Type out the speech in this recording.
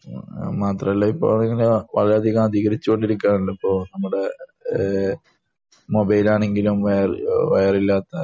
മാത്രമല്ല ഇപ്പൊ അത് ഇങ്ങനെ വളരെയധികം അധികരിച്ചു കൊണ്ടിരിക്കുകയാണല്ലോ ഇപ്പൊ ആണെങ്കിലും വയർ ഇല്ലാത്ത